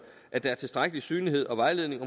at der er tilstrækkelig synlighed og vejledning